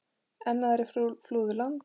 Enn aðrir flúðu land.